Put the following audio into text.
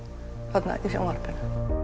þarna í sjónvarpinu